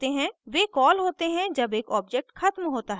वे call होते हैं जब एक object ख़त्म होता है